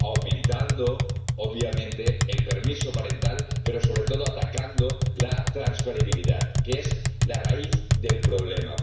Aumentando, obviamente, el permiso parental, pero sobre todo atacando la transferibilidad, que es la raíz del problema.